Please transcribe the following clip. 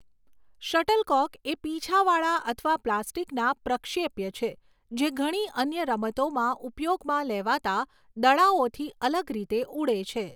Shuttlecock એ પીંછાવાળા અથવા પ્લાસ્ટિકના પ્રક્ષેપ્ય છે જે ઘણી અન્ય રમતોમાં ઉપયોગમાં લેવાતા દડાઓથી અલગ રીતે ઉડે છે.